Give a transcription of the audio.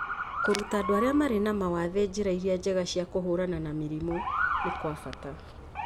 Kũruta andũ arĩa marĩ na mawathe njĩra iria njega cia kũhũrana na mĩrimũ nĩ kwa bata